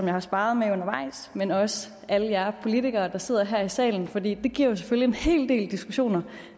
har sparret med undervejs men også alle jer politikere der sidder her i salen fordi det giver jo selvfølgelig en hel del diskussioner